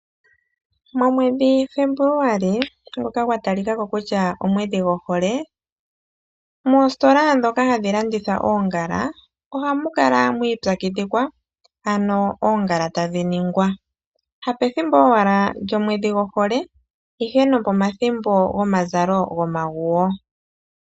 Momwedhi Febuluali ngoka gwa talika ko kutya omwedhi gohole moositola ndhoka hamu landithwa oongala ohamu kala mwiipyakidhikwa ano oongala tadhi ningwa, hapethimbo owala lyomwedhi gohole, ihe nopomathimbo gomazalo gomaguwo.